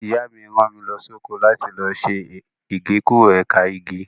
Ìyá mi rán mi lọ sóko láti lọ ṣe Igékúrò ẹ̀ka igi.